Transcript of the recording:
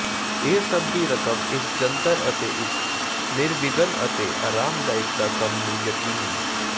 ਇਹ ਸਭ ਦੀ ਰਕਮ ਇਸ ਜੰਤਰ ਤੇ ਇੱਕ ਨਿਰਵਿਘਨ ਅਤੇ ਆਰਾਮਦਾਇਕ ਦਾ ਕੰਮ ਨੂੰ ਯਕੀਨੀ